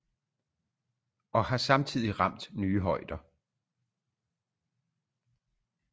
Og har samtidig ramt nye højder